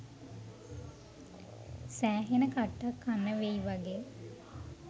සෑහෙන්න කට්ටක් කන්න වෙයි වගෙ